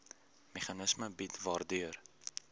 meganisme bied waardeur